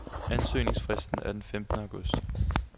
Ansøgningsfristen er den femtende august.